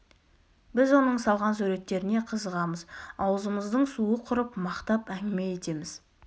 біз оның салған суреттеріне қызығамыз аузымыздың суы құрып мақтап әңгіме етеміз